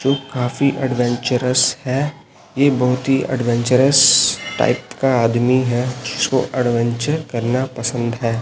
जो काफी एडवेंचरस है ये बहोत ही एडवेंचरस टाइप का आदमी है जिसको एडवेंचर करना पसंद है।